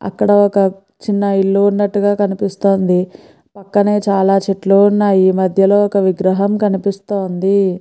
అక్కడ ఒక చిన్న ఇల్లు ఉన్నటుగ కనిపిస్తున్నాయి పక్కనే చాల చెట్లు ఉన్నాయి మధ్యలో ఒక విగ్రహం కనిపిస్తున్నది.